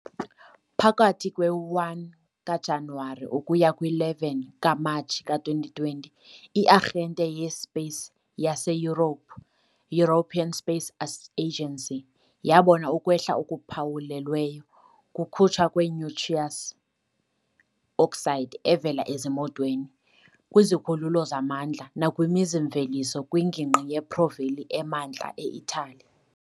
Phakathi kwe-1 kaJanuwari ukuya kwi-11 kaMatshi ka-2020, i-Arhente ye-Space yase-Europe, European Space Agency, yabona ukwehla okuphawulweyo kukhutshwa kwe-nitrous oxide evela ezimotweni, kwizikhululo zamandla, nakwimizi-mveliso kwingingqi yePo Valley emantla e-Italy.